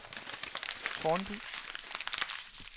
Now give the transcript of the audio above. Tårnby